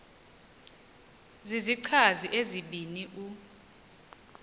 zizichazi ezibini u